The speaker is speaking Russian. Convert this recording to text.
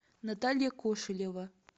наталья кошелева